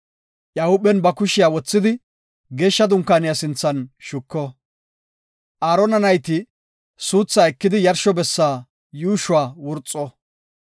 Iya huuphen ba kushiya wothidi Geeshsha Dunkaaniya sinthan shuko. Aarona nayti suuthaa ekidi yarsho bessa yuushuwa wurxo.